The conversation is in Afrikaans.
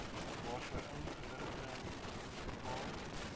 waarvoor inligting beskikbaar